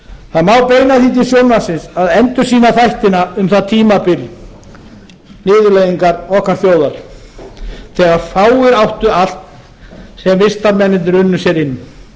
það má beina því til sjónvarpsins að endursýna þættina um það tímabil niðurlægingar okkar þjóðar þegar fáir áttu allt sem vistarmennirnir unnu sér inn